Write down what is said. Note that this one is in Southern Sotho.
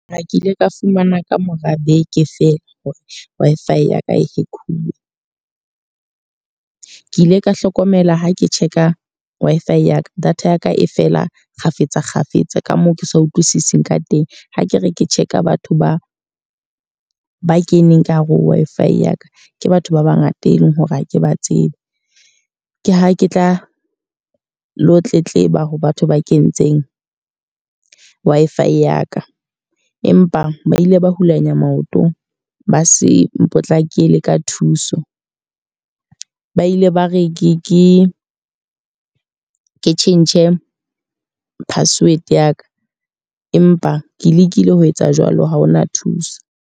Ha ke ile ka fumana ka mora beke fela hore Wi-Fi ya ka e hack-uwe. Ke ile ka hlokomela ha ke check-a Wi-Fi ya ka, data ya ka e fela kgafetsa kgafetsa ka moo ke sa utlwisising ka teng. Ha ke re ke check-a batho ba ba keneng ka hara Wi-Fi ya ka. Ke batho ba bangata e leng hore ha ke ba tsebe. Ke ha ke tla lo tletleba ho batho ba kentseng Wi-Fi ya ka. Empa ba ile ba hulanya maotong, ba se mpotlakele ka thuso. Ba ile ba re ke ke tjhentjhe password ya ka. Empa ke lekile ho etsa jwalo ha hona thuso.